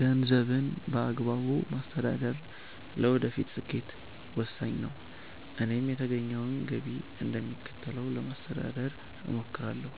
ገንዘብን በአግባቡ ማስተዳደር ለወደፊት ስኬት ወሳኝ ነው፤ እኔም የተገኘውን ገቢ እንደሚከተለው ለማስተዳደር እሞክራለሁ፦